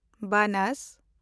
ᱵᱟᱱᱟᱥ